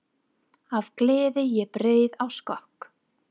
Af gleði ég bregð á skokk.